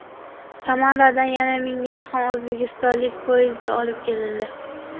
Samaradan yana mingga yaqin o‘zbekistonlik poyezdda olib kelindi.